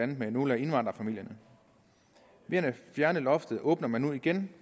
det med nogle af indvandrerfamilierne ved at fjerne loftet åbner man nu igen